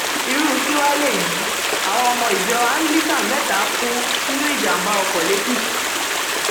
irú kí wàá léyìí àwọn ọmọ ìjọ anglican mẹta kú mẹta kú sínú ìjàmbá ọkọ lẹkìtì